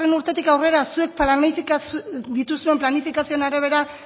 urtetik aurrera zuek dituzuen planifikazioen arabera